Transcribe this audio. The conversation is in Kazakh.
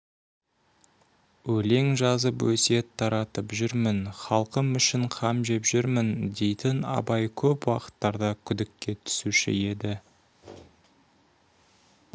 өлең жазып өсиет таратып жүрмін халқым үшін қам жеп жүрмін дейтін абай көп уақыттарда күдікке түсуші еді